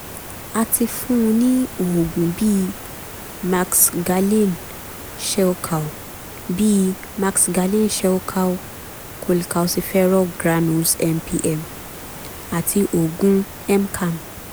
a ti fún un ní oògùn bíi maxgalin shelcal bíi maxgalin shelcal cholcalciferol granules mpm àti oògùn mcam